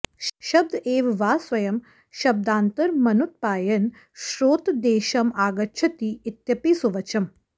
शब्द एव वा स्वयं शब्दान्तरमनुत्पायन् श्रोत्रदेशं आगच्छति इत्यपि सुवचम्